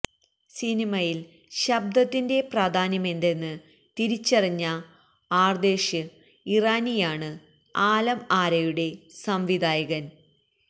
സിനിമയില് ശബ്ദത്തിന്റെ പ്രാധാന്യമെന്തെന്ന് തിരിച്ചറിഞ്ഞ ആര്ദേഷിര് ഇറാനിയാണ് ആലം ആരയുടെ സംവിധായകന്